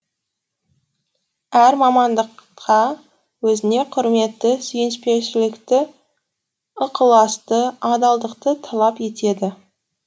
әр мамандықта өзіне құрметті сүйіспеншілікті ықыласты адалдықты талап етеді